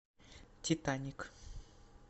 титаник